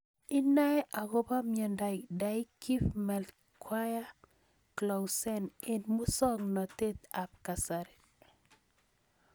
Inae akopo miondop Dyggve Melchior Clausen eng' muswognatet ab kasari